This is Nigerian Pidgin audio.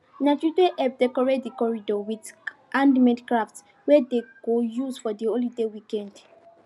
na the children help decorate the corridor with handmade crafts wey them go use for the holiday weekend